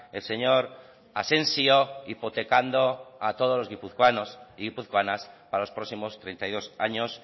el señor asensio hipotecando a todos los guipuzcoanos y guipuzcoanas para los próximos treinta y dos años